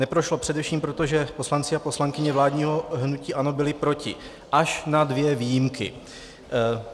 Neprošlo především proto, že poslanci a poslankyně vládního hnutí ANO byli proti, až na dvě výjimky.